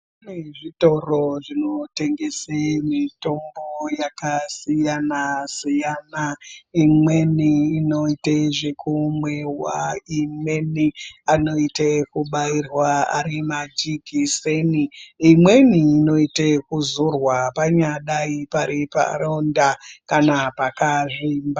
Pane zvitoro zvinotengese mitombo yakasiyana siyana .Imweni inoite zvekumwiwa ,imweni anoite yekubairwa ari majikiseni, imweni inoite yekuzorwa panyadai pari paronda kana pakazvimba.